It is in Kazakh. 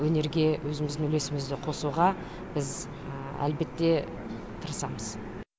өнерге өзіміздің үлесімізді қосуға біз әлбетте тырысамыз